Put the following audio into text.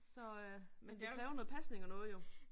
Så øh men det kræver noget pasning og noget jo